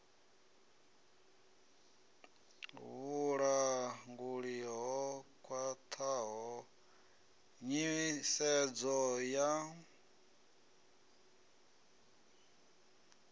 vhulanguli ho khwathaho nyisedzo ya